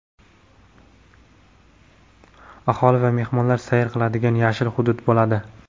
aholi va mehmonlar sayr qiladigan "yashil hudud" bo‘ladi.